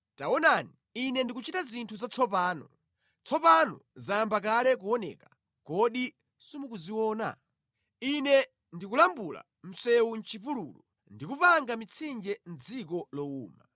Taonani, Ine ndikuchita zinthu zatsopano! Tsopano zayamba kale kuoneka; kodi simukuziona? Ine ndikulambula msewu mʼchipululu ndi kupanga mitsinje mʼdziko lowuma.